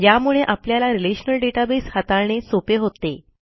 यामुळे आपल्याला relational database हाताळणे सोपे होते